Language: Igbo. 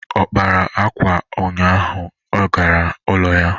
Ọ kpara akwa ụnyaahụ ị gara n'ụlọ ya?